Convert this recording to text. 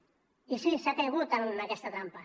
i sí s’ha caigut en aquesta trampa